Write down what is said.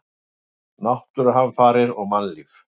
Náttúruhamfarir og mannlíf.